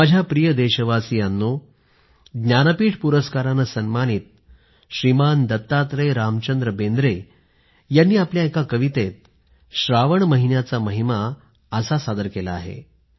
माझ्या प्रिय देशवासियांनो ज्ञानपीठ पुरस्कारानं सन्मानित श्रीमान दत्तात्रय रामचंद्र बेंद्रे यांनी आपल्या एका कवितेत श्रावण महिन्याचा महिमा असा सादर केला आहे